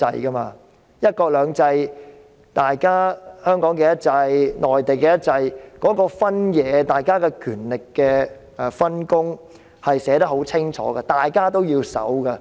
在"一國兩制"下，香港的"一制"和內地的"一制"的分野，大家的權力分工寫得十分清楚，大家也要遵守。